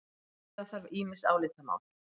Afgreiða þarf ýmis álitamál